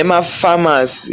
Emafamasi